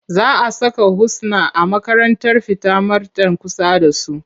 Za a saka Husna a makarantar fita marten kusa da su.